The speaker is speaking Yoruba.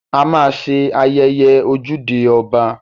A ma ṣe ayẹyẹ ojúde ọba